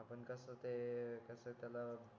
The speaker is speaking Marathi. आपण कस ते कस त्याला